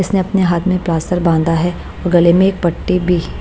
इसने अपने हाथ में प्लास्टर बांधा है और गले में एक पट्टी भी--